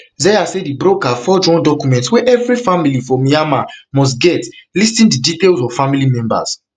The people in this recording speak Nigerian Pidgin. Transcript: zeya say di broker forge one document wey every family for myanmar must get listing di details of family members